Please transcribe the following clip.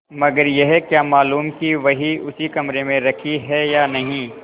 मगर यह क्या मालूम कि वही उसी कमरे में रखी है या नहीं